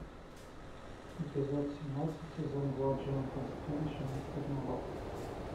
эпизод семнадцать сезон два джонатан стрендж и мистер норрелл